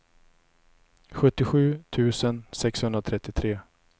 sjuttiosju tusen sexhundratrettiotre